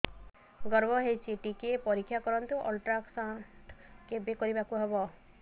ଗର୍ଭ ହେଇଚି ଟିକେ ପରିକ୍ଷା କରନ୍ତୁ ଅଲଟ୍ରାସାଉଣ୍ଡ କେବେ କରିବାକୁ ହବ